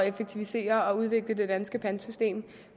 effektivisere og udvikle det danske pantsystem